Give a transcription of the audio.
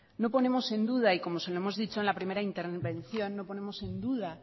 no ponemos en duda y como se lo hemos dicho en la primera intervención no ponemos en duda